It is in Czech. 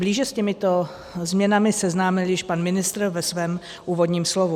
Blíže s těmito změnami seznámil již pan ministr ve svém úvodním slovu.